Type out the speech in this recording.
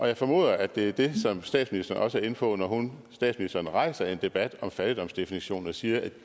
jeg formoder at det er det som statsministeren også er inde på når statsministeren rejser en debat om fattigdomsdefinition og siger at